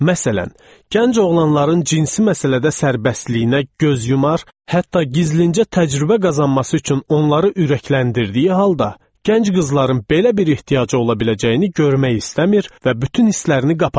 Məsələn, gənc oğlanların cinsi məsələdə sərbəstliyinə göz yumar, hətta gizlincə təcrübə qazanması üçün onları ürəkləndirdiyi halda, gənc qızların belə bir ehtiyacı ola biləcəyini görmək istəmir və bütün hisslərini qapayırdı.